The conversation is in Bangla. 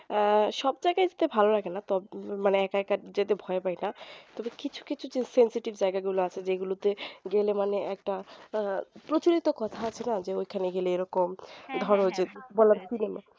আহ সব জায়গায় যেতে ভালো লাগে না তব মানে একা একা যেতে ভয় পাই না তবে কিছু কিছু যে sensitive জায়গা গুল আছে যে গুলোতে গেলে মানে একটা প্রচলিত কথা আছে না যে ঐখানে গেলে এরকম